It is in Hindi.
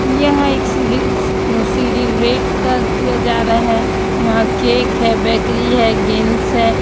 यह एक सिली सी अ सिलिब्रेट क किया जा रहा है यहां केक है बेकरी है गेन्स है।